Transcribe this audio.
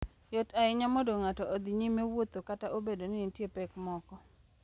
Yot ahinya mondo ng'ato odhi nyime wuotho kata obedo ni nitie pek moko.